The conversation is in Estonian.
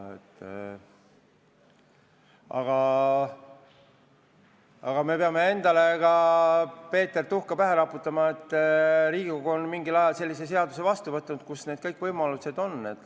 Ent me peame endale ka, Peeter, tuhka pähe raputama, et Riigikogu on mingil ajal vastu võtnud sellise seaduse, mis kõik need võimalused annab.